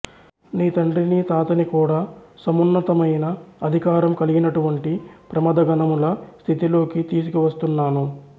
నీ తండ్రిని తాతని కూడా సమున్నతమయిన అధికారం కలిగినటువంటి ప్రమథగణముల స్థితిలోకి తీసుకువస్తున్నాను